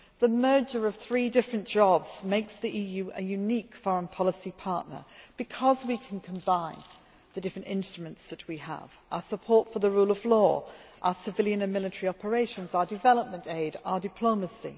The merger of three different jobs makes the EU a unique foreign policy partner, because we can combine the different instruments that we have our support for the rule of law, our civilian and military operations, our development aid, our diplomacy